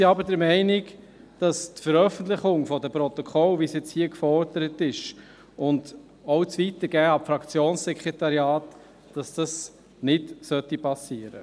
Wir sind aber der Meinung, die Veröffentlichung der Protokolle, wie dies hier gefordert wird, und auch das Weitergeben an die Fraktionssekretariate solle nicht geschehen.